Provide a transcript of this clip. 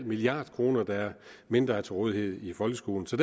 milliard kroner mindre til rådighed i folkeskolen så